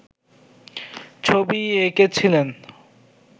ছবি এঁকেছিলেন